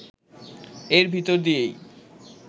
এর ভেতর দিয়েই